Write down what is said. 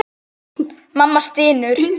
Mamma stynur.